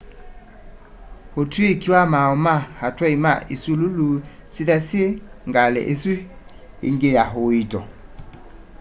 itwĩĩkĩ sya maaũ ma atwaĩ ma ĩsũlũlũ syĩtha syĩ ngalĩ ĩsũ ĩngĩ ya ũĩto